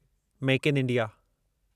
make in India